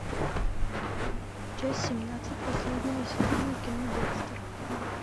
часть семнадцать последнего сезона кино декстер